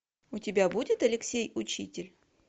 у тебя будет алексей учитель